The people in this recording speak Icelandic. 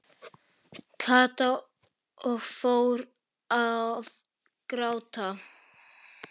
Kata og fór að gráta.